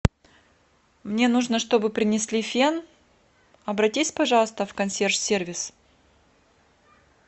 мне нужно чтобы принесли фен обратись пожалуйста в консьерж сервис